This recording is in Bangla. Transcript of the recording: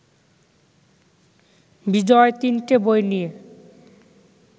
বিজয় তিনটে বই নিয়ে